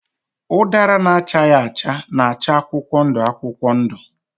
Ụdara na-achaghị acha na-acha akwụkwọ ndụ akwụkwọ ndụ.